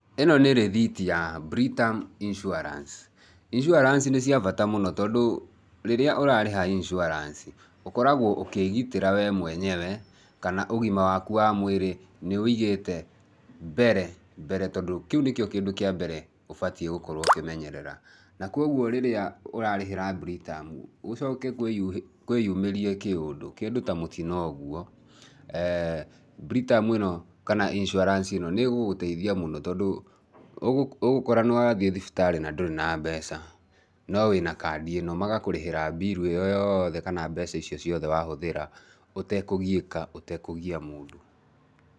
Ĩno nĩ rithiti ya Britam Insurance , Insurance nĩ cia bata mũno tondũ rĩrĩa ũrarĩha insurance ũkoragwo ũkĩgitĩra we mwenyewe kana ũgima waku wa mwĩrĩ nĩ wũigĩte mbere, mbere tondũ kĩu nĩkĩo kĩndũ kĩa mbere ũbatie gũkorwo ũkĩmenyerera, na kwoguo rĩrĩa ũrarĩhĩr Britam gũcoke kwĩ yu, kwĩyumĩrie kĩũndũ, kĩndũ ta mũtino ũguo ee Britam ĩno kana insurance ĩno nĩgũgũteithia mũno tondũ ũgũ, ũgũkora nĩwathiĩ thibitarĩ na ndũrĩ na mbeca no wĩna kandi ĩno, magakũrĩhĩra Bill ĩyo yoothe kana mbeca ici ciothe wahũthĩra ũtekũgiĩka ũtekũgia mũndũ.